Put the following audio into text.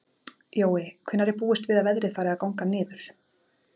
Jói, hvenær er búist við að veðrið fari að ganga niður?